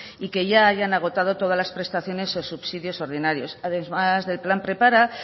y que ya hayan agotado todas las prestaciones o subsidios ordinarios además del plan prepara